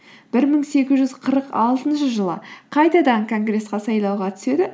бір мың сегіз жүз қырық алтыншы жылы қайтадан конгресске сайлауға түседі